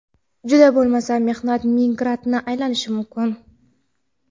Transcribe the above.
juda bo‘lmasa mehnat migrantiga aylanishi mumkin.